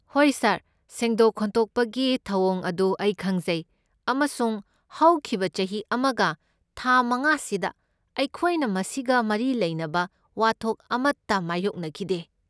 ꯍꯣꯏ ꯁꯥꯔ, ꯁꯦꯡꯗꯣꯛ ꯈꯣꯠꯊꯣꯛꯄꯒꯤ ꯊꯧꯑꯣꯡ ꯑꯗꯨ ꯑꯩ ꯈꯪꯖꯩ ꯑꯃꯁꯨꯡ ꯍꯧꯈꯤꯕ ꯆꯍꯤ ꯑꯃꯒ ꯊꯥ ꯃꯉꯥꯁꯤꯗ ꯑꯩꯈꯣꯏꯅ ꯃꯁꯤꯒ ꯃꯔꯤ ꯂꯩꯅꯕ ꯋꯥꯊꯣꯛ ꯑꯃꯇ ꯃꯥꯢꯌꯣꯛꯅꯈꯤꯗꯦ꯫